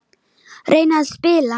Reyna að spila!